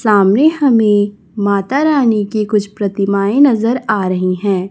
सामने हमें माता रानी की कुछ प्रतिमाएं नजर आ रही हैं।